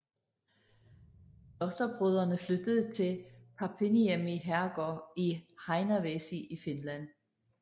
Klosterbrødrene flyttede til Papinniemi herrgård i Heinävesi i Finland